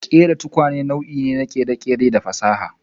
Kerawan tukwane nau'i ne na kere-kere da fasaha.